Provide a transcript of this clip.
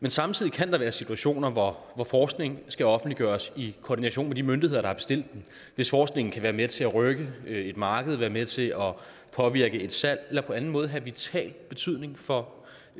men samtidig kan der være situationer hvor forskningen skal offentliggøres i koordination med de myndigheder der har bestilt den hvis forskningen kan være med til at rykke et marked være med til at påvirke et salg eller på anden måde have vital betydning for